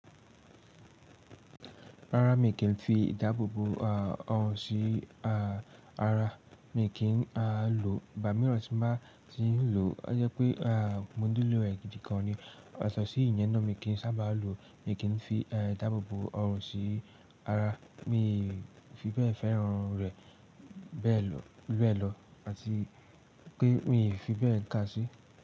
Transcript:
Rárá, mi kì í fi ìdáàbòbò ọrùn sí ara, mi kì í lòò. Ìgba míiran tí n ba ti ń lò, ó jẹ́ pé à mo niló e gidi kan ni. Yatọ̀ sí ìyẹn náà mi kì í sábà lò, mi kì í fi ìdáàbòbò ọrùn sí ara. Mi fi bẹ́ẹ̀ fẹ́ràn rẹ̀ bẹ́ẹ̀ lọ ẹ lọ àti pé mi fi bẹ́ẹ̀ kà á sí.